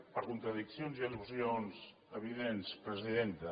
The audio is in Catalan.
per contradiccions i al·lusions evidents presidenta